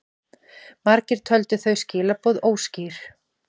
Margir töldu þau skilaboð óskýr.